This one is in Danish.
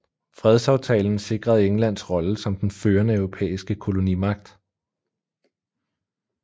Fredsaftalen sikrede Englands rolle som den førende europæiske kolonimagt